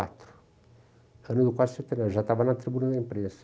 quatro, ano já estava na tribuna da imprensa.